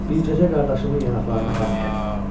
Bircəcə qardaşımın yanaqlarına qan gəlib.